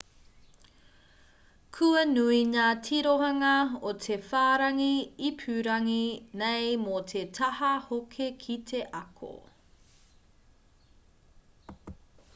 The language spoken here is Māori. kua nui ngā tirohanga o te whārangi ipurangi nei mō te taha hoki ki te ako